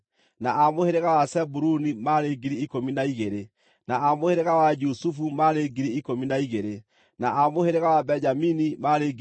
na a mũhĩrĩga wa Zebuluni maarĩ 12,000, na a mũhĩrĩga wa Jusufu maarĩ 12,000, na a mũhĩrĩga wa Benjamini maarĩ 12,000.